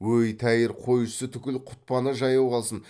өй тәйір қойшысы түгіл құтпаны жаяу қалсын